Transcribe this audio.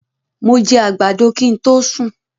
Mó jẹ àgbàdo kin to sún